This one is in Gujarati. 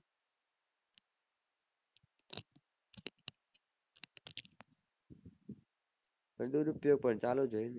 દુરુપયોગ પન ચાલુ હોય